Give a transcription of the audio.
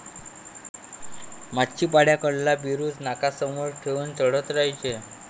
माचीपाड्याकडला बुरुज नाकासमोर ठेवून चढत राहायचे.